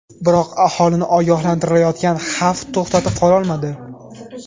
Biroq aholini ogohlantirilayotgan xavf to‘xtatib qololmadi.